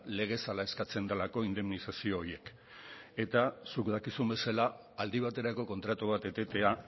legez hala eskatzen delako indemnizazio horiek eta zuk dakizun bezala aldi baterako kontratu bat etetea